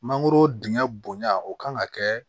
Mangoro dingɛ bonya o kan ka kɛ